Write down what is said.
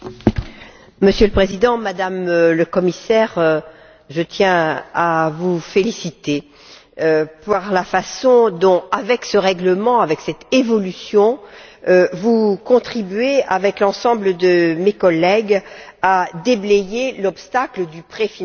Monsieur le Président, Madame la Commissaire, je tiens à vous féliciter pour la façon dont, avec ce règlement et avec cette évolution, vous contribuez, avec l'ensemble de mes collègues, à déblayer l'obstacle du préfinancement.